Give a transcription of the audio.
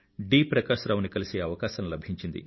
ప్రకాశ రావు ని కలిసే అవకాశం లభించింది